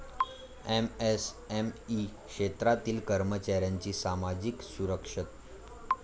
MSME क्षेत्रातील कर्मचाऱ्यांची सामाजिक सुरक्षा